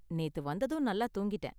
நேத்து வந்ததும் நல்லா தூங்கிட்டேன்.